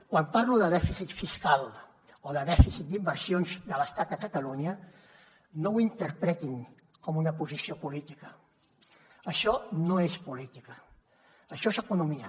quan parlo de dèficit fiscal o de dèficit d’inversions de l’estat a catalunya no ho interpretin com una posició política això no és política això és economia